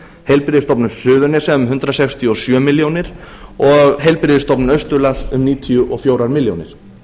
heilbrigðisstofnun suðurnesja um hundrað sextíu og sjö milljónir og heilbrigðisstofnun austurlands um níutíu og fjórar milljónir